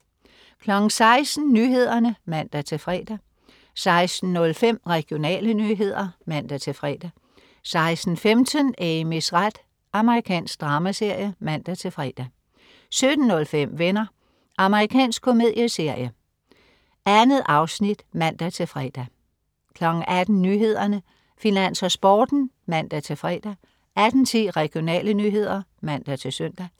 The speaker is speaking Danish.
16.00 Nyhederne (man-fre) 16.05 Regionale nyheder (man-fre) 16.15 Amys ret. Amerikansk dramaserie (man-fre) 17.05 Venner. Amerikansk komedieserie. 2 afsnit (man-fre) 18.00 Nyhederne, Finans og Sporten (man-fre) 18.10 Regionale nyheder (man-søn)